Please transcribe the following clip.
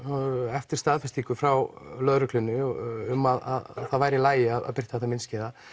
eftir staðfestingu frá lögreglunni um að það væri í lagi að birta þetta myndskeið